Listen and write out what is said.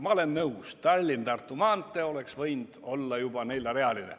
Ma olen nõus, Tallinna–Tartu maantee oleks võinud olla juba neljarealine.